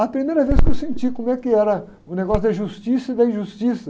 A primeira vez que eu senti como é que era o negócio da justiça e da injustiça.